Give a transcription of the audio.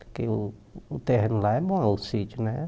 Porque o o terreno lá é bom, é o sítio, né?